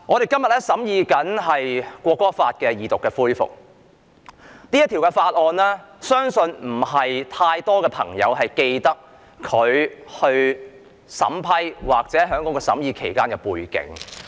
今天《國歌條例草案》恢復二讀，但相信不是太多朋友記得《條例草案》審議期間的背景。